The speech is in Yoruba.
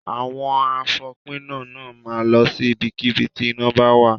Àwọn àfòpiná náà máa lọ sí ibikíbi tí iná bá wà.